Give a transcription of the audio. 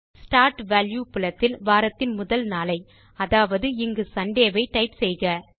start value புலத்தில் வாரத்தின் முதல் நாளை அதாவது இங்கு சுண்டே ஐ டைப் செய்க